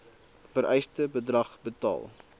vereiste bedrag betaal